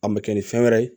A mɛ kɛ ni fɛn wɛrɛ ye